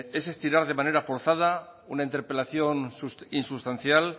es estirar de manera forzada una interpelación insustancial